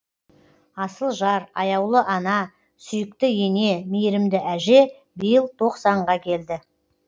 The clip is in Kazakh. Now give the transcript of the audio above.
асыл жар аяулы ана сүйікті ене мейірімді әже биыл тоқсанға келді